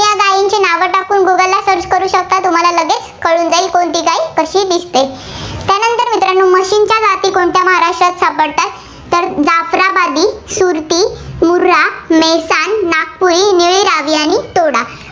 तुम्हाला लगेच कळून जाईल कोणती गाय कशी दिसते. त्यानंतर मित्रांनो म्हशींच्या जाती कोणत्या महाराष्ट्रात सापडतात, तर जाफराबादी, सुरती, मुर्हा, मेहसान, नागतुळी, निळी, रावी आणि